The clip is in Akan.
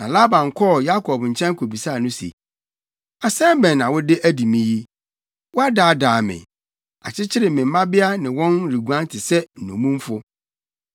Na Laban kɔɔ Yakob nkyɛn kobisaa no se, “Asɛm bɛn na wode adi me yi? Woadaadaa me, akyekyere me mmabea de wɔn reguan te sɛ nnommumfo.